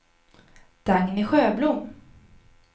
Dagny Sjöblom